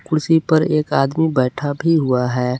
कुर्सी पर एक आदमी बैठा भी हुआ है।